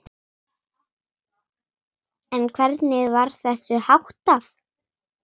En hvernig var þessu háttað?